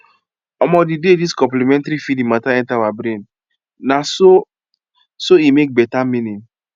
omo the day this complementary feeding matter enter our brain na so so e make betta eaning